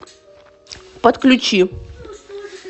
подключи